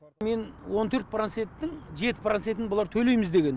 мен он төрт проценттің жеті процентін бұлар төлейміз деген